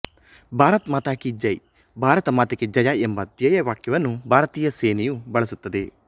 ಭಾರತ ಮಾತಾ ಕಿ ಜೈ ಭಾರತ ಮಾತೆಗೆ ಜಯ ಎಂಬ ಧ್ಯೇಯವಾಕ್ಯವನ್ನು ಭಾರತೀಯ ಸೇನೆಯು ಬಳಸುತ್ತದೆ